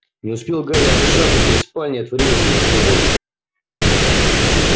не успел гарри отдышаться дверь спальни отворилась и вошёл рон